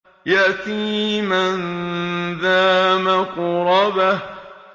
يَتِيمًا ذَا مَقْرَبَةٍ